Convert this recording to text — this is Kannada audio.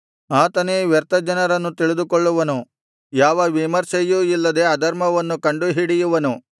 ಆತನೇ ವ್ಯರ್ಥ ಜನರನ್ನು ತಿಳಿದುಕೊಳ್ಳುವನು ಯಾವ ವಿಮರ್ಶೆಯೂ ಇಲ್ಲದೆ ಅಧರ್ಮವನ್ನು ಕಂಡು ಹಿಡಿಯುವನು